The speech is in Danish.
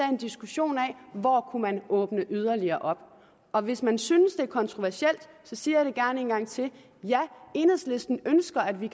en diskussion af hvor kunne åbne yderligere op og hvis man synes det er kontroversielt så siger jeg det gerne en gang til ja enhedslisten ønsker at vi